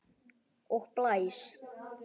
Og blæs.